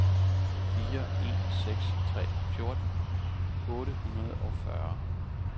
fire en seks tre fjorten otte hundrede og fyrre